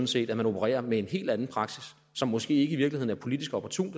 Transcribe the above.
set at man opererer med en helt anden praksis som måske i virkeligheden ikke er politisk opportun